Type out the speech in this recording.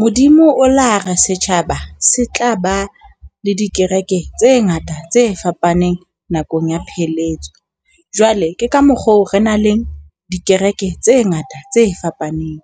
Modimo o lare setjhaba se tla ba, le dikereke tse ngata tse fapaneng nakong ya pheletso jwale ke ka mokgwa oo re na le dikereke tse ngata tse fapaneng.